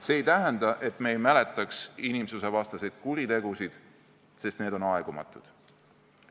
See ei tähenda, et me ei mäletaks inimsusvastaseid kuritegusid, need on aegumatud.